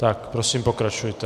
Tak prosím, pokračujte.